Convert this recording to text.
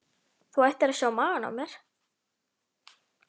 Þú ættir að sjá magann á mér.